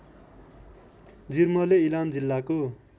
जिर्मले इलाम जिल्लाको